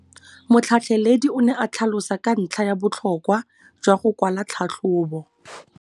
Motlhatlheledi o ne a tlhalosa ka ntlha ya botlhokwa jwa go kwala tlhatlhôbô.